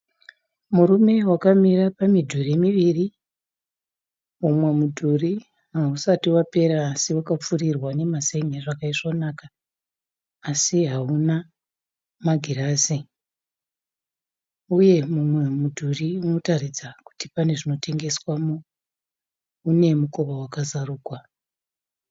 Murume wakamira pamidhuri miviri, umwe mudhuri hausati wapera asi wakapfirirwa nemazen'e zvakaisvonaka asi hauna magirazi, uye mumwe mudhuri unotaridza kuti pane zvinotengeswamo mune mukova wakazarugwa